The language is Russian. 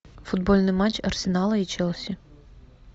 футбольный матч арсенала и челси